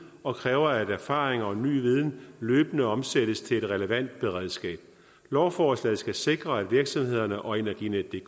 og kræver at erfaring og ny viden løbende omsættes til et relevant beredskab lovforslaget skal sikre at virksomhederne og energinetdk